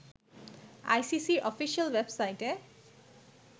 আইসিসির অফিশিয়াল ওয়েবসাইটে